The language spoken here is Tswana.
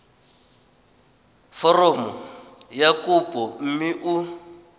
foromo ya kopo mme o